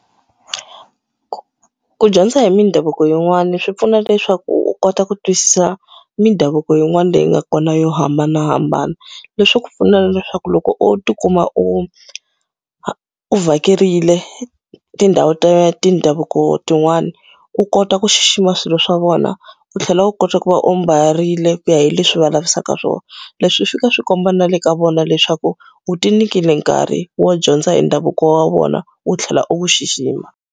Ku dyondza hi mindhavuko yin'wani swi pfuna leswaku u kota ku twisisa mindhavuko yin'wana leyi nga kona yo hambanahambana. Leswi swi ku pfuna leswaku loko u ti kuma u u vhakerile tindhawu ta tindhavuko tin'wani, u kota ku xixima swilo swa vona, u tlhela u kota ku va u ambarile ku ya hi leswi va lavisaka swona. Leswi swi fika swi komba na le ka vona leswaku u ti nyikile nkarhi wo dyondza hi ndhavuko wa vona, u tlhela u wu xixima.